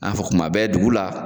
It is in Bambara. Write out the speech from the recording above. Na fɔ kuma bɛɛ dugu la